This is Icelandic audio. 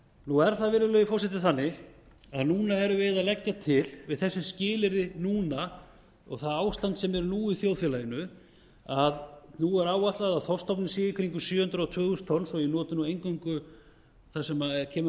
nú er það virðulegi forseti þannig að núna erum við að leggja til við þessi skilyrði núna og það ástand sem er nú í samfélaginu að nú er áætlað að þorskstofninn sé í kringum sjö þúsund tvö hundruð tonn svo að ég noti eingöngu það sem kemur